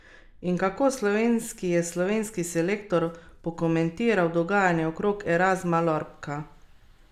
In kako slovenski je slovenski selektor pokomentiral dogajanje okrog Erazma Lorbka?